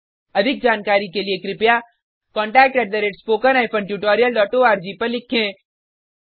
अधिक जानकारी के लिए contactspoken tutorialorg पर लिखें